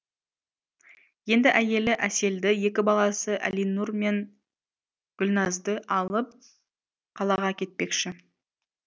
енді әйелі әселді екі баласы әлинұр мен гүлназды алып қалаға кетпекші